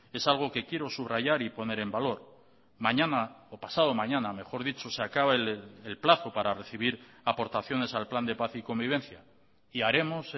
es algo que quiero subrayar y poner en valor mañana o pasado mañana mejor dicho se acaba el plazo para recibir aportaciones al plan de paz y convivencia y haremos